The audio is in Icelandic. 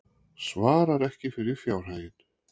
Svarar ekki fyrir fjárhaginn